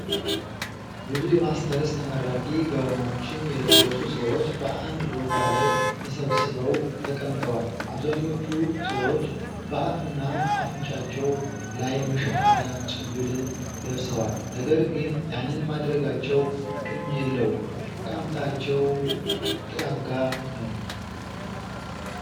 ብዙ የማስተርስ ተመራቂ ጋውኖችን የለበሱ ሰዎች በአንድ ቦታ ላይ ተሰብስበው ተቀምጠዋል። አብዛኞቹ ሰዎች በአፍና እፍንጫቸው ላይ መሸፈኛ ጭንብልን ለብሰዋል ነገር ግን ያንን ማድረጋቸው ጥቅም የለውም አቀማመጣቸው የተጠጋጋ ነው።